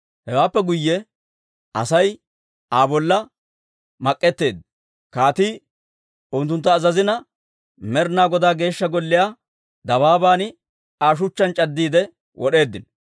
Hewaappe guyye Asay Aa bolla mak'etteedda. Kaatii unttunttu azazina, Med'inaa Godaa Geeshsha Golliyaa dabaaban Aa shuchchaan c'addiide wod'eeddino.